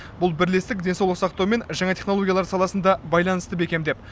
бұл бірлестік денсаулық сақтау мен жаңа технологиялар саласында байланысты бекемдеп